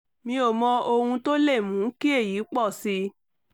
mi ò mọ ohun tó lè mú kí èyí pọ̀ sí i